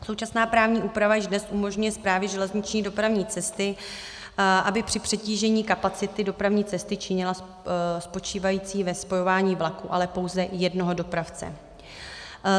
Současná právní úprava již dnes umožňuje Správě železniční dopravní cesty, aby při přetížení kapacity dopravní cesty činila... spočívající ve spojování vlaků, ale pouze jednoho dopravce.